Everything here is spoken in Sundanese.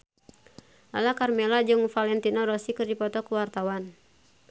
Lala Karmela jeung Valentino Rossi keur dipoto ku wartawan